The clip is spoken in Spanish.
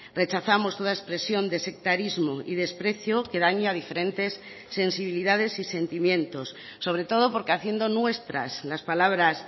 rechazamos toda expresión de sectarismo y desprecio que daña a diferentes sensibilidades y sentimientos sobre todo porque haciendo nuestras las palabras